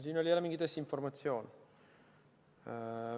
Siin oli jälle mingi desinformatsioon.